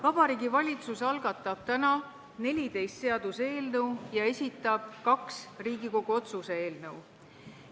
Vabariigi Valitsus algatab täna 14 seaduseelnõu ja esitab kaks Riigikogu otsuse eelnõu.